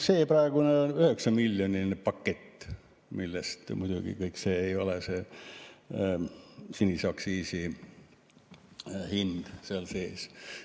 See praegune 9-miljoniline pakett, muidugi kõik ei ole see sinise aktsiisi hind seal sees.